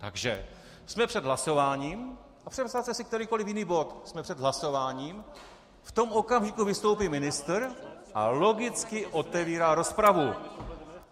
Takže jsme před hlasováním - a představte si kterýkoliv jiný bod, jsme před hlasováním, v tom okamžiku vystoupí ministr a logicky otevírá rozpravu.